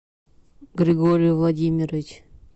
григорий владимирович